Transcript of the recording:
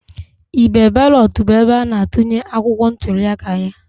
Igbe balọt bụ ebe ana-atụnye akwụkwọ ntuliaka ya.